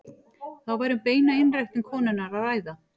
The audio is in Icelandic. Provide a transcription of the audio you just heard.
Þá væri um beina einræktun konunnar að ræða.